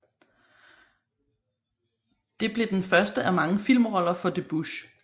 Det blev den første af mange filmroller for Debbouze